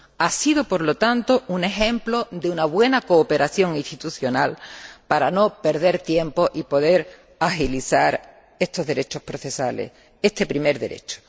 Ha sido, por lo tanto, un ejemplo de buena cooperación institucional para no perder tiempo y poder agilizar estos derechos procesales, este primer derecho.